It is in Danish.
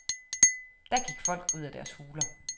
Da gik folk ud af deres huler.